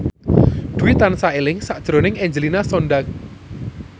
Dwi tansah eling sakjroning Angelina Sondakh